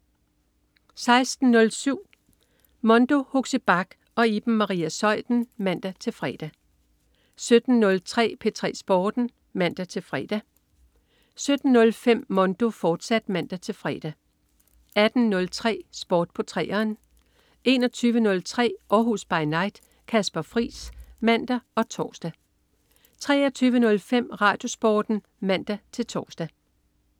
16.07 Mondo. Huxi Bach og Iben Maria Zeuthen (man-fre) 17.03 P3 Sporten (man-fre) 17.05 Mondo, fortsat (man-fre) 18.03 Sport på 3'eren 21.03 Århus By Night. Kasper Friis (man og tors) 23.05 RadioSporten (man-tors)